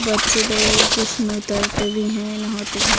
बच्चे लोग कुछ लोग तैरते भी है नहाते भी--